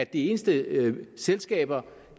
de eneste selskaber